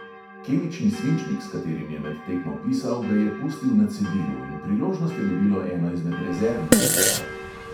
Kemični svinčnik, s katerim je med tekmo pisal, ga je pustil na cedilu in priložnost je dobilo eno izmed rezervnih pisal.